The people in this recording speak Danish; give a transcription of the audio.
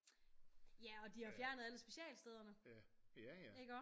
Ja og de har fjernet alle specialstederne iggå